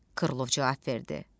Krılov cavab verdi.